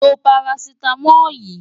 Lo parasítámọ̀ yìí!